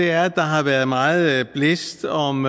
er at der har været meget blæst om